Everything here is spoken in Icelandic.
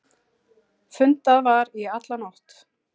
Fundað var í alla nótt.